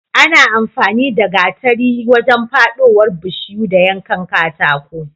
Ana amfani da gatari wajen fadowar bishiyu da yankan katako